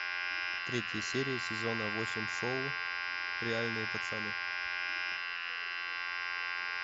третья серия сезона восемь шоу реальные пацаны